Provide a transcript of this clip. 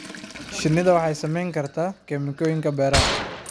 Shinnidu waxay saamayn kartaa kiimikooyinka beeraha.